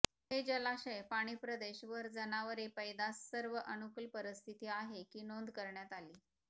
हे जलाशय पाणी प्रदेश वर जनावरे पैदास सर्व अनुकूल परिस्थिती आहे की नोंद करण्यात आली